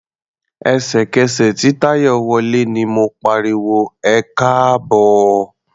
Ẹ̀sẹ̀kẹsẹ̀ tí Táyọ̀ wọlé ni mo pariwo "ẹkáàbọ̀".